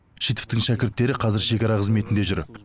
шитовтың шәкірттері қазір шекара қызметінде жүр